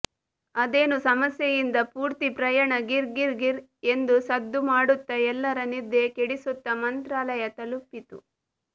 ಅದೇನೋ ಸಮಸ್ಯೆಯಿಂದ ಪೂರ್ತಿ ಪ್ರಯಾಣ ಗಿರ್ ಗಿರ್ ಗಿರ್ ಎಂದು ಸದ್ದು ಮಾಡುತ್ತಾ ಎಲ್ಲರ ನಿದ್ದೆ ಕೆಡಿಸುತ್ತಾ ಮಂತ್ರಾಲಯ ತಲುಪಿತು